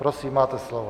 Prosím, máte slovo.